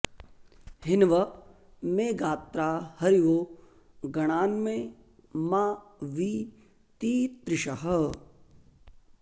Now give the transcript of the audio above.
हिन्व॑ मे॒ गात्रा॑ हरिवो ग॒णान्मे॒ मा वि ती॑तृषः